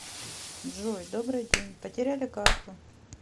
джой добрый день потеряли карту